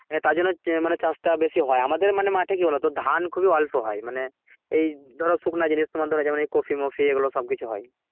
তারজন্যে মানে চাষটা বেশি হয় আমাদের মানে মাঠে কি বোলো তো ধান খুবই অল্প হয় মানে এই ধরো শুকনো জিনিস তোমার ধরো যেমন ধরো কফি মফি এগুলো সব কিছু হয়